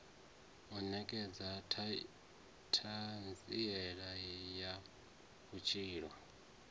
u nekedza thanziela ya vhutshilo